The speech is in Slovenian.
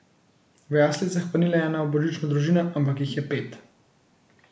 V jaslicah pa ni le ena božična družina, ampak jih je pet.